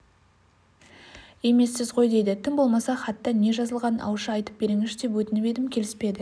емессіз ғой дейді тым болмаса хатта не жазылғанын ауызша айтып беріңізші деп өтініп едім келіспеді